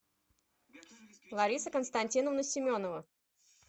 лариса константиновна семенова